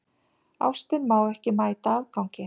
Ástin má ekki mæta afgangi.